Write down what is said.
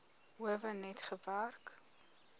howe net gewerk